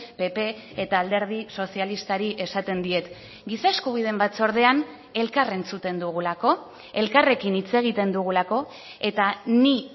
pp eta alderdi sozialistari esaten diet giza eskubideen batzordean elkar entzuten dugulako elkarrekin hitz egiten dugulako eta ni